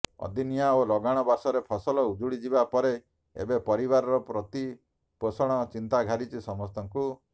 ଅଦିନିଆ ଓ ଲଗାଣ ବର୍ଷାରେ ଫସଲ ଉଜୁଡି ଯିବା ପରେ ଏବେ ପରିବାର ପ୍ରତିପୋଷଣ ଚିନ୍ତା ଘାରିଛି ସମସ୍ତଙ୍କୁ